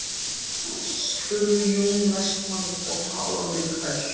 spurði Jón Vestmann og talaði hvellt.